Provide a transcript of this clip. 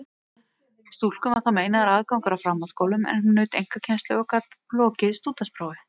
Stúlkum var þá meinaður aðgangur að framhaldsskólum, en hún naut einkakennslu og gat lokið stúdentsprófi.